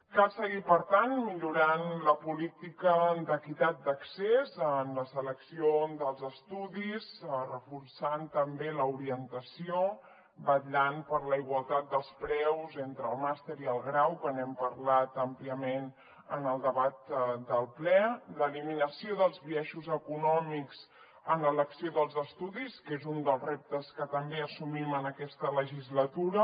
cal seguir per tant millorant la política d’equitat d’accés en la selecció dels es·tudis reforçant també l’orientació vetllant per la igualtat dels preus entre el màster i el grau que n’hem parlat àmpliament en el debat del ple l’eliminació dels biai·xos econòmics en l’elecció dels estudis que és un dels reptes que també assumim en aquesta legislatura